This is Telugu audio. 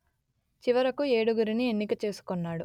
చివరకు ఏడుగురిని ఎన్నిక చేసుకొన్నాడు